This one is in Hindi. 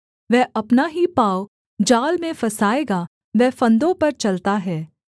वह अपना ही पाँव जाल में फँसाएगा वह फंदों पर चलता है